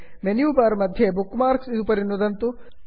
menu bar मध्ये bookmarks bookmarks उपरि नुदन्तु